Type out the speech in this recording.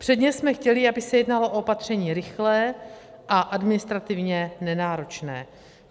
Předně jsme chtěli, aby se jednalo o opatření rychlé a administrativně nenáročné.